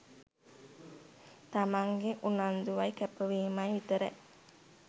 තමන්ගෙ උනන්දුවයි කැපවීමයි විතරයි.